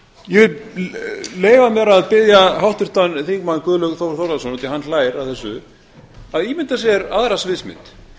ég vil leyfa mér að biðja háttvirtan þingmann guðlaug þór þórðarson út af því að hann hlær að þessu að ímynda sér aðra sviðsmynd